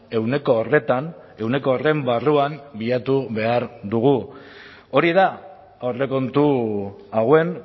ehuneko horretan ehuneko horren barruan bilatu behar dugu hori da aurrekontu hauen